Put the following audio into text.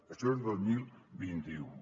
això és dos mil vint u